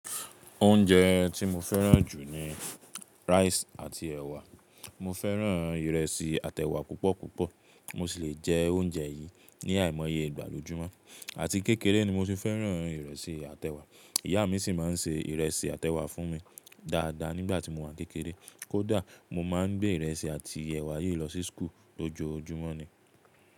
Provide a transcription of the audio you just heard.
Oúnjẹ tí mo fẹ́ràn jù ni rice àti ẹ̀wà. Mo fẹ́ràn ìrẹsì àti ẹ̀wà púpọ̀púpọ̀. Mo sì le jẹ oúnjẹ yìí ní àìmọye ìgbà lójúmọ́. Àti kékeré ni mo tì fẹ́ràn ìrẹsì àti ẹ̀wà. Ìyá mi sì máa ṣe ìrẹsì àtẹ̀wà fún mi dáadáa nígbà tí mo wà n kékeré. Kódà mo máa n gbé ìrẹsì àti ẹ̀wà yìí lọ sí school lojoojúmọ́ ni.